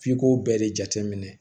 F'i k'o bɛɛ de jateminɛ